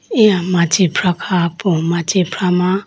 eya machifrah kha po machifrah ma.